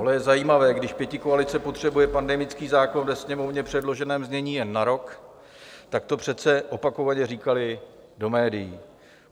Ale je zajímavé, když pětikoalice potřebuje pandemický zákon ve Sněmovně předloženém znění jen na rok, tak to přece opakovaně říkali do médií.